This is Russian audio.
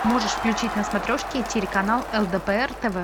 можешь включить на смотрешки телеканал лдпр тв